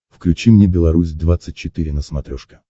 включи мне беларусь двадцать четыре на смотрешке